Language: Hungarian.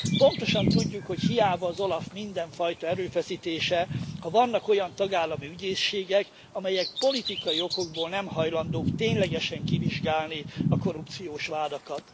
Pontosan tudjuk, hogy hiába az OLAF mindenfajta erőfeszítése, ha vannak olyan tagállami ügyészségek, amelyek politikai okokból nem hajlandók ténylegesen kivizsgálni a korrupciós vádakat.